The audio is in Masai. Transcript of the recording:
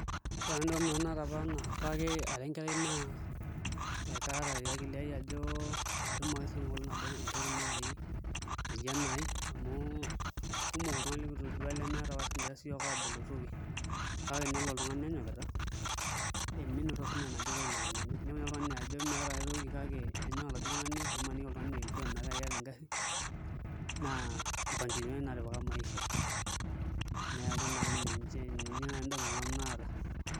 Ore apa endamunoto naata apake ara enkerai naa akaata te akili aai ajo atum ake sinanu enkolong' nabo entoki naai naji enaai amu kumok iltung'anak likitoduaa lemeeta apa kigira siyiook aabulu toki kake nelo oltung'ani enyokita ominoto siinye enaduo toki nara enenye, inepu naai oltung'ani ajo meeta ai toki kake enyok oladuo tung'ani nimaniki oltung'ani eeyeuo ometaa ekeeta engarri naa mpangilioni naatipika maisha, neeku naa ninye nanu indamunot naata.